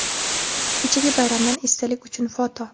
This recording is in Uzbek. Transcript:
Kechagi bayramdan esdalik uchun foto.